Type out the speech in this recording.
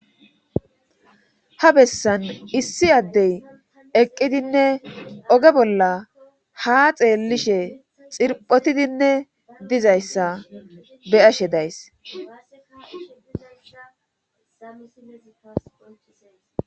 Ha bessan issi addey eqqidinne oge bolla ha xeellishe xirphotidinne dizayssa beyashe days.